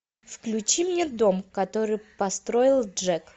включи мне дом который построил джек